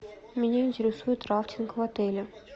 меня интересует рафтинг в отеле